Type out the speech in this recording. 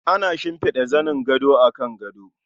Ana shimfida zanin gado akan gado.